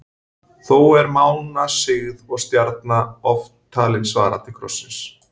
Þó er mánasigð og stjarna oft talin svara til krossins.